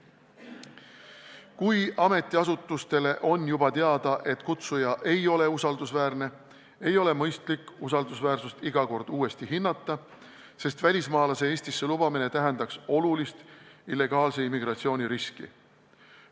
Kui ametiasutustele on varasemast teada, et kutsuja ei ole usaldusväärne, siis pole mõistlik tema usaldusväärsust iga kord uuesti hinnata, sest sellises olukorras tähendaks välismaalase Eestisse lubamine olulist illegaalse immigratsiooni riski.